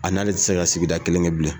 A n'ale ti se ka sigida kelen kɛ bilen